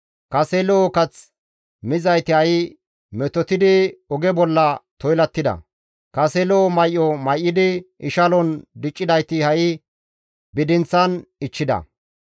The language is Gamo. Kase lo7o kath mizayti ha7i metotidi oge bolla toylattida; kase lo7o may7o may7idi ishalon diccidayti ha7i bidinththan ichchida.